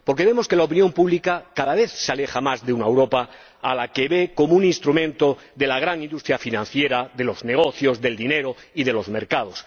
Porque vemos que la opinión pública cada vez se aleja más de una Europa a la que ve como un instrumento de la gran industria financiera, de los negocios, del dinero y de los mercados.